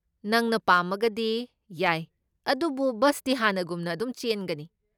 ꯅꯪꯅ ꯄꯥꯝꯃꯒꯗꯤ, ꯌꯥꯏ, ꯑꯗꯨꯕꯨ ꯕꯁꯇꯤ ꯍꯥꯟꯅꯒꯨꯝꯅ ꯑꯗꯨꯝ ꯆꯦꯟꯒꯅꯤ꯫